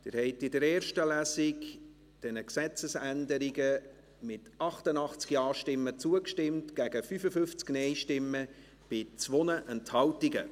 Sie haben diesen Gesetzesänderungen in der ersten Lesung zugestimmt, mit 88 Ja- gegen 55 Nein-Stimmen bei 2 Enthaltungen.